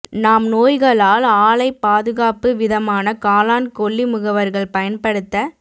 நாம் நோய்களால் ஆலை பாதுகாப்பு விதமான காளான் கொல்லி முகவர்கள் பயன்படுத்த